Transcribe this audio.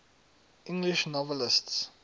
english novelists